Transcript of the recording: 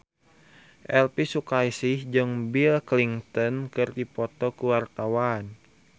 Elvi Sukaesih jeung Bill Clinton keur dipoto ku wartawan